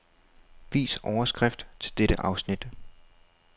Vis overskrift til dette afsnit.